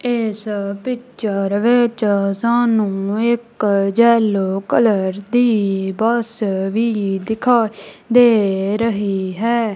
ਇੱਸ ਪਿਕਚਰ ਵਿੱਚ ਸਾਨੂੰ ਇੱਕ ਯੇਲੋ ਕਲਰ ਦੀ ਬੱਸ ਵੀ ਦਿਖਾਈ ਦੇ ਰਹੀ ਹੈ।